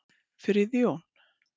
Friðjón